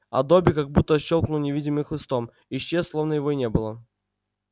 а добби как будто щёлкнул невидимым хлыстом исчез словно его и не было